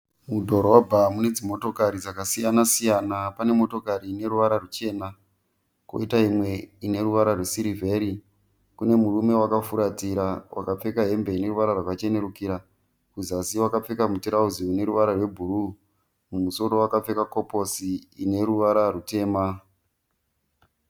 Mudhorobha mune dzimotokari dzakasiyana siyana. Pane motokari ine ruvara ruchena, kwoita imwe ine ruvara rwesirivheri. Kune murume wakafuratira wakapfeka hembe ine ruvara rwakachenerukira. Kuzasi wakapfeka muturauzi une ruvara rwebhuruu, mumusoro wakapfeka koposi ine ruvara rutema.